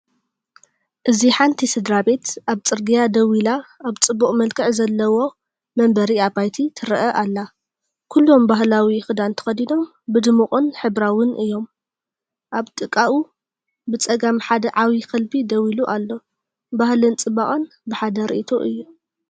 እዚ ሓንቲ ስድራቤት ኣብ ጽርግያ ደው ኢላ ኣብ ጽቡቕ መልክዕ ዘለዎ መንበሪ ኣባይቲ ትረአ ኣላ። ኩሎም ባህላዊ ክዳን ተኸዲኖም፣ ብድሙቕን ሕብራዊን እዮም። ኣብ ጥቓኡ ብጸጋም ሓደ ዓቢ ከልቢ ደው ኢሉ ኣሎ። ባህልን ጽባቐን ብሓደ ርእይቶ እዩ።